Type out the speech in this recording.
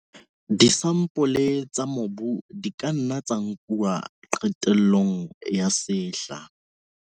Disampole tsa mobu di ka nna tsa nkuwa qetellong ya sehla.